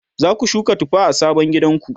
zaku shuka tufa a sabon gidanku?